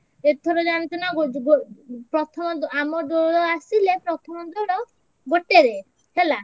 ଏଥର ଜାଣିଛୁ ନାଁ ଆମ ଦୋଳ ଆସିଲେ ପ୍ରଥମ ଦୋଳ ଗୋଟେରେ ହେଲା।